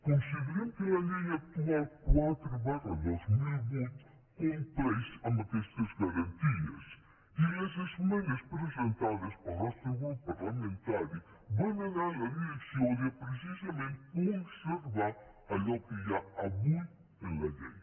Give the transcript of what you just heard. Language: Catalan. considerem que la llei actual quatre dos mil vuit compleix amb aquestes garanties i les esmenes presentades pel nos·tre grup parlamentari van anar en la direcció de pre·cisament conservar allò que hi ha avui en la llei